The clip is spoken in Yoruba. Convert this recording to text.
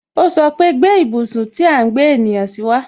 O sọpe "Gbé ibùsùn tí à ń gbé ènìyàn si wa